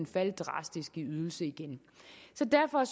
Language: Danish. falde drastisk i ydelse igen så derfor